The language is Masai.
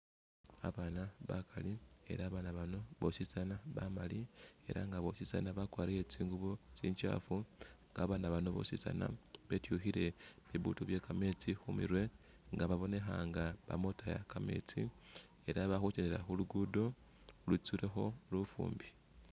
Abana bakali ela abana bano bosi bamali ela nga bosi bakwarile tsingubo tsinjafu ela abana bano bosi bitwikhile bibutu bye kametsi khumerwe nga babonekha nga bama khutaya kametsi Ela bakhukyendela khulugudo khwitsulekho lufumbi .